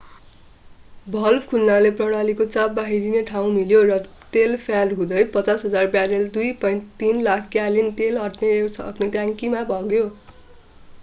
Valve खुल्नाले प्रणालीको चाप बाहिरिने ठाउँ मिल्यो र तेल प्याड हुँदै 55,000 ब्यारेल 2.3 लाख ग्यालन तेल अट्न सक्ने ट्याङ्कीमा बग्यो।